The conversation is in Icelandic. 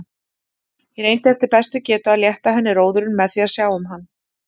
Ég reyndi eftir bestu getu að létta henni róðurinn með því að sjá um hann.